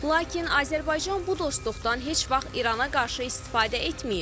Lakin Azərbaycan bu dostluqdan heç vaxt İrana qarşı istifadə etməyib.